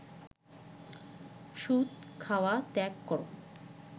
সুদ খাওয়া ত্যাগ কর